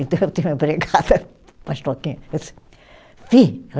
Então eu tinha uma empregada,